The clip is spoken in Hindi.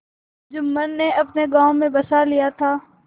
जुम्मन ने अपने गाँव में बसा लिया था